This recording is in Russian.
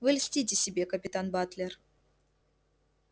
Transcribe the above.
вы льстите себе капитан батлер